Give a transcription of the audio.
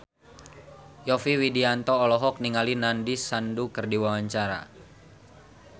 Yovie Widianto olohok ningali Nandish Sandhu keur diwawancara